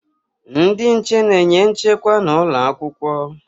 Ndị nche na-enye nchekwa n'ụlọ akwụkwọ